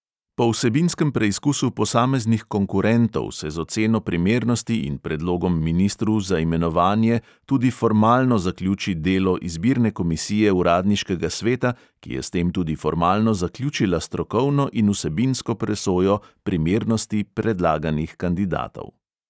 Po vsebinskem preizkusu posameznih "konkurentov" se z oceno primernosti in predlogom ministru za imenovanje tudi formalno zaključi delo izbirne komisije uradniškega sveta, ki je s tem tudi formalno zaključila strokovno in vsebinsko presojo primernosti predlaganih kandidatov.